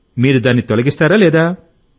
మీరు దాన్ని తొలగిస్తారా